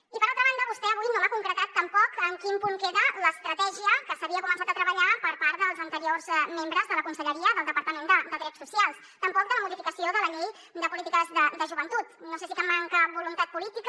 i per altra banda vostè avui no m’ha concretat tampoc en quin punt queda l’estratègia que s’havia començat a treballar per part dels anteriors membres de la conselleria del departament de drets socials tampoc de la modificació de la llei de polítiques de joventut no sé si manca voluntat política